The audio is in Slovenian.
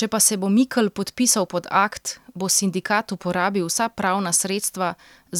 Če pa se bo Mikl podpisal pod akt, bo sindikat uporabil vsa pravna sredstva